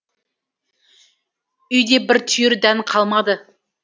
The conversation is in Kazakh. үйде бір түйір дән қалмады